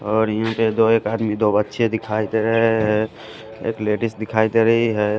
और यहाँ पे दो एक आदमी दो बच्चे दिखाई दे रहे हैं एक लेडिस दिखाई दे रही है।